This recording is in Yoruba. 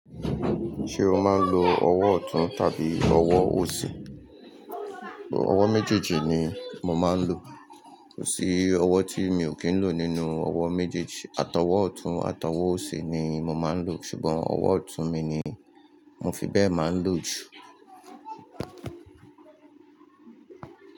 Ṣé o máa ń lo ọwọ́ ọ̀tún tàbí ọwọ́ òsì? Ọwọ́ méjèèjì ni mo máa ń lo. Kò sí ọwọ́ tí mi ò kí ń lo nínú ọwọ́ méjèèjì. Àtọwọ́ ọ̀tún, àtọwọ́ òsì ni mo máa ń lo. Ṣùgbọ́n ọwọ́ ọ̀tún mi ni mo fi bẹ́ẹ̀ máa ń lo jù.